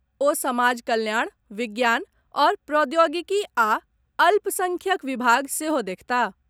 ओ समाज कल्याण, विज्ञान आओर प्रौद्योगिकी आ अल्प संख्यक विभाग सेहो देखताह।